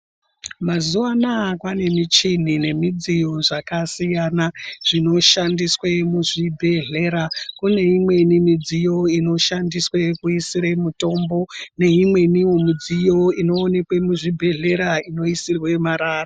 Mazuwa Anaya kwane muchini nemudziyo zvakasiyana zvinoshandiswa kuzvibhedhleya kune imweni mudziyo inoshandiswa kuisire mutombo neimweniwo mudziyo inoonekwa muzvibhedhlera inoisirwa marara.